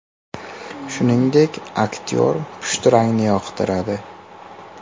Shuningdek, aktyor pushti rangni yoqtiradi.